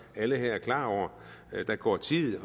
at alle her er klar over at der går tid